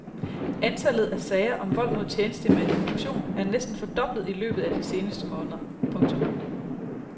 Antallet af sager om vold mod tjenestemand i funktion er næsten fordoblet i løbet af de seneste måneder. punktum